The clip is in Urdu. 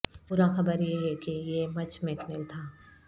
برا خبر یہ ہے کہ یہ مچ میکنیل تھا